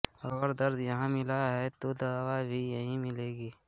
अगर दर्द यहां मिला है तो दवा भी यहीं मिलेगी